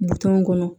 Butɔn kɔnɔ